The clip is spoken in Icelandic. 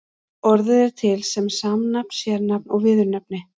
Orðið er til sem samnafn, sérnafn og viðurnefni.